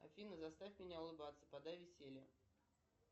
афина заставь меня улыбаться подай веселье